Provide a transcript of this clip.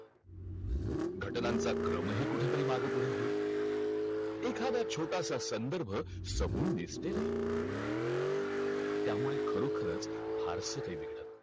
घटनांचा क्रम अ ही कुठ तरी मग पुढं होईल एखाद छोटास संदर्भ सामून निसटलं अ हि त्या मुल्ल खरोखरच फारसा काही बिगडत नाही